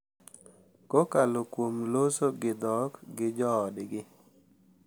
Kokalo kuom loso gi dhok gi joodgi.